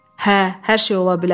Hə, hər şey ola bilər.